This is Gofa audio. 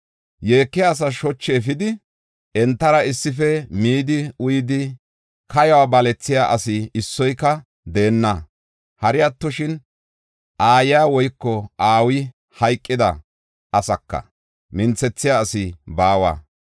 Yeekiya asaas shochu efidi, entara issife midi uyidi, kayuwa balethiya asi issoyka deenna. Hari attoshin, aayiya woyko aawi hayqida asaaka minthethiya asi baawa.”